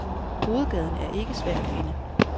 Hovedgaden er ikke svær at finde.